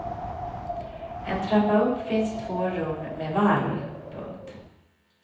En trappa upp finns två rum med valv. punkt